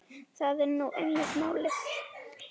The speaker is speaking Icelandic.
Það er nú einmitt málið.